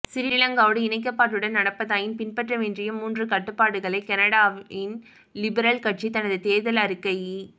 சிறிலங்காவோடு இணக்கப்பாட்டுடன் நடப்பதாயின் பின்பற்றவேண்டிய மூன்று கடப்பாடுகளை கனடாவின் லிபரல் கட்சி தனது தேர்தல் அறிக்கையி